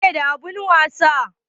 Wa ƴaƙe da abun wasa?